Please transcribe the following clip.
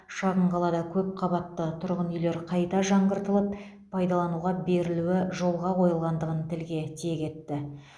шағын қалада көпқабатты тұрғын үйлер қайта жаңғыртылып пайдалануға берілуі жолға қойылғандығын тілге тиек етті